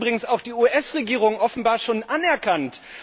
Und das hat übrigens auch die US Regierung offenbar schon anerkannt.